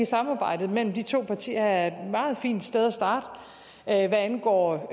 samarbejdet mellem de to partier her er et meget fint sted at starte hvad angår